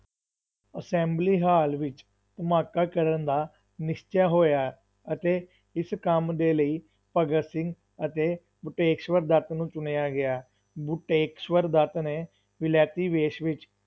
assembly hall ਵਿੱਚ ਧਮਾਕਾ ਕਰਨ ਦਾ ਨਿਸ਼ਚਾ ਹੋਇਆ ਅਤੇ ਇਸ ਕੰਮ ਦੇ ਲਈ ਭਗਤ ਸਿੰਘ ਅਤੇ ਬਟੁਕੇਸ਼ਵਰ ਦੱਤ ਨੂੰ ਚੁਣਿਆ ਗਿਆ, ਬਟੁਕੇਸ਼ਵਰ ਦੱਤ ਨੇ ਵਿਲੈਤੀ ਵੇਸ਼ ਵਿੱਚ